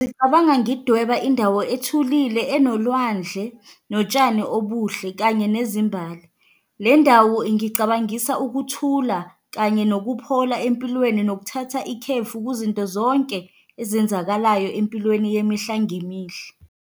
Ngicabanga ngidweba indawo ethulile, enolwandle notshani obuhle, kanye nezimbali. Le ndawo ingicabangisa ukuthula kanye nokuphola empilweni, nokuthatha ikhefu kuzinto zonke ezenzakalayo empilweni yemihla ngemihla.